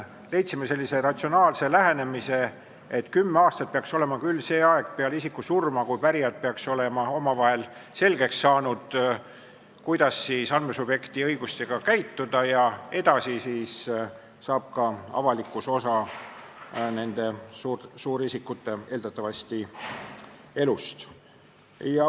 Me leidsime sellise ratsionaalse lähenemise, et 10 aastat peaks olema see aeg peale isiku surma, kui pärijad peaksid olema omavahel selgeks saanud, kuidas andmesubjekti õigustega käituda, ja edasi saab ka avalikkus osa nende suurte isikute, eeldatavalt, elust.